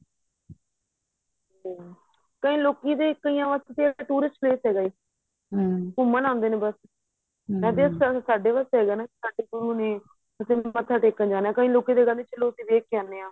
ਕਈ ਲੋਕੀਂ ਦੇ ਕਈਆਂ ਵਾਸਤੇ ਤੇ tourist place ਏ ਘੁੱਮਣ ਆਦੇ ਨੇ ਬੱਸ ਨਜ਼ਰ ਸਾਡੇ ਗੁਰੂ ਨੇ ਮੱਥਾ ਟੇਕਣ ਕਈ ਲੋਕੀਂ ਤੇ ਕਹਿੰਦੇ ਕੇ ਚਲੋਂ ਉਥੇ ਵੇਖ ਕੇ ਆਨੇ ਆਂ